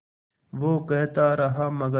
वो कहता रहा मगर